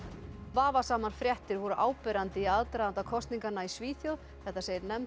vafasamar fréttir voru áberandi í aðdraganda kosninganna í Svíþjóð þetta segir nefnd